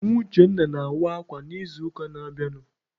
Nwa Uchenna na-awa akwa n'izuụka na-abịanụ.